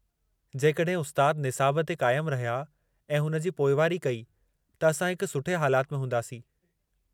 जेकड॒हिं उस्ताद निसाबु ते क़ाइमु रहिया ऐं हुन जी पोइवारी कई त असां हिक सुठे हालाति में हूंदासीं।